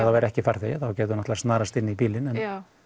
það væri ekki farþegi þá gæti hún snarast inn í bílinn en